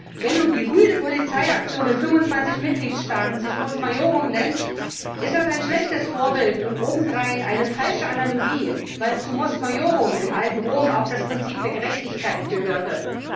Wenn sich nun die rüde Polizeiaktion in 25 Mitgliedstaaten Mos Maiorum nennt, ist das ein schlechtes Vorbild und obendrein eine falsche Analogie, weil zu Mos Maiorum im alten Rom auch das Prinzip der Gerechtigkeit gehörte.